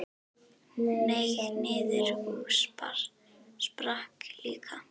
Hneig niður og sprakk líka.